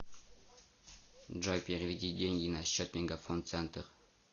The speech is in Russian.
джой переведи деньги на счет мегафон центр